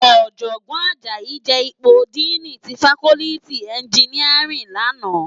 Òjògbòn Ajayi je ipó dìní ti fákòlìtí ènjìníárìn làná